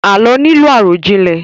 Àlọ́ nílò àròjinlẹ̀